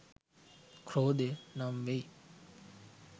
ක්‍රෝධය නම් වෙයි.